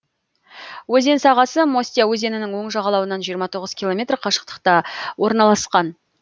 өзен сағасы мостья өзенінің оң жағалауынан жиырма тоғыз километр қашықтықта орналасқан